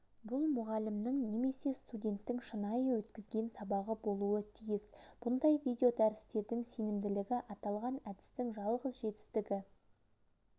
бұл мұғалімнің немесе студенттің шынайы өткізген сабағы болуы тиіс бұндай видеодәрістердің сенімділігі аталған әдістің жалғыз жетістігі